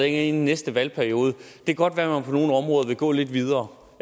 inde i næste valgperiode kan det godt være at på nogle områder vil gå lidt videre